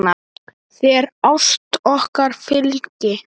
Þér ást okkar fylgi.